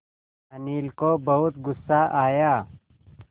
अनिल को बहुत गु़स्सा आया